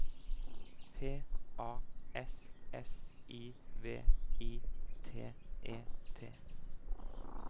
P A S S I V I T E T